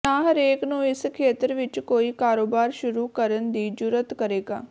ਨਾ ਹਰੇਕ ਨੂੰ ਇਸ ਖੇਤਰ ਵਿੱਚ ਕੋਈ ਕਾਰੋਬਾਰ ਸ਼ੁਰੂ ਕਰਨ ਦੀ ਜੁਰਅਤ ਕਰੇਗਾ